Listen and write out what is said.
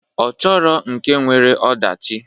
Ọ chọrọ nke nwere ọdachi.